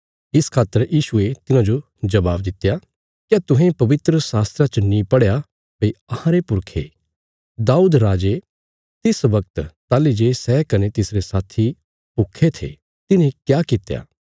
इस खातर यीशुये तिन्हाजो जवाब दित्या क्या तुहें पवित्र शास्त्रा च नीं पढ़या भई अहांरे पुरखे दाऊद राजे तिस बगत ताहली जे सै कने तिसरे साथी भूखे थे तिन्हे क्या कित्या